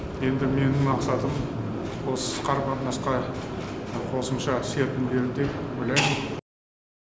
енді менің мақсатым осы қарым қатынасқа қосымша серпін беру деп ойлаймын